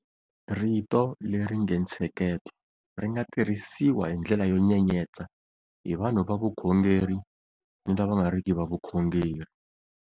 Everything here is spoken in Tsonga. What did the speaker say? Rito leri nge ntsheketo ri nga tirhisiwa hi ndlela yo nyenyetsa hi vanhu va vukhongeri ni lava nga riki va vukhongeri.